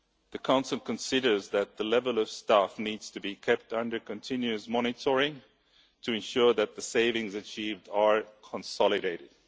The Council considers that the level of staff needs to be kept under continuous monitoring to ensure that the savings achieved are consolidated.